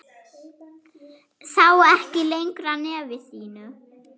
Sá ekki lengra nefi sínu.